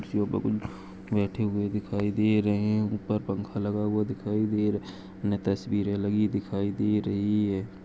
बैठे हूए दिखाई दे रहे है और ऊपर पंखा लागा हुआ दिखाई है न-तस्वीरे दिखाई दे रही है।